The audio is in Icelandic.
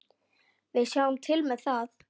Við sjáum til með það.